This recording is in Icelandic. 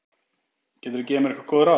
Geturðu gefið mér einhver góð ráð?